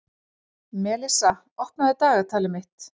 Melissa, opnaðu dagatalið mitt.